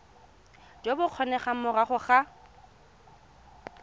jo bo kgonegang morago ga